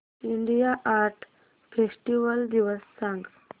India art festival दिवस सांग